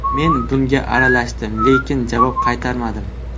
Men bunga aralashdim, lekin javob qaytarmadim.